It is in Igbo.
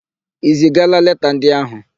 I zigala leta ndị áhụ̀?